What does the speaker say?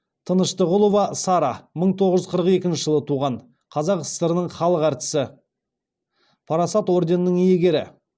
тыныштығұлова сара мың тоғыз жүз қырық екінші жылы туған қазақ сср інің халық әртісі парасат орденінің иегері